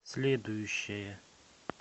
следующая